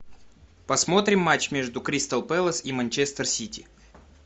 посмотрим матч между кристал пэлас и манчестер сити